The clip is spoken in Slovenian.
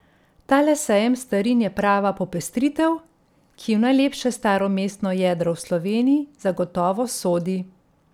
Tale sejem starin je prava popestritev, ki v najlepše staro mestno jedro v Sloveniji zagotovo sodi.